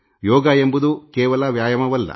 ಯೋಗ ಎಂಬುದು ಕೇವಲ ಶಾರೀರಿಕ ವ್ಯಾಯಾಮವಲ್ಲ